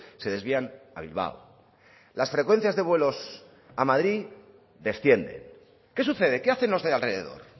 se desvían a bilbao las frecuencias de vuelos a madrid descienden qué sucede qué hacen los de alrededor